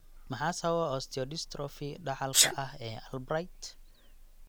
Maxaa sababa osteodystrophy dhaxalka ah ee Albright?